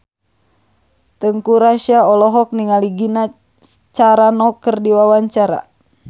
Teuku Rassya olohok ningali Gina Carano keur diwawancara